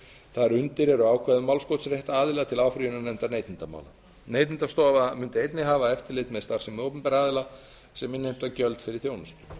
þar undir eru ákvæði um málskotsrétt aðila til áfrýjunarnefndar neytendamála neytendastofa mundi einnig hafa eftirlit með starfsemi opinberra aðila sem innheimta gjöld fyrir þjónustu